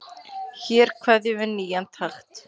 Hér kveður við nýjan takt.